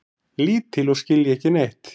Lítil og skilja ekki neitt.